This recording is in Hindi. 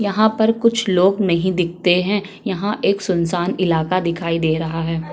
यहाँ पर कुछ लोग नहीं दिखते हैं यहाँ पर सुनशान इलाका दिखाई दे रहा है।